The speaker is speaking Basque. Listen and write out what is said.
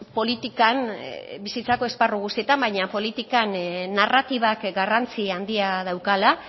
politikan bizitzako esparru guztietan baina politikan narratibak garrantzia handia daukala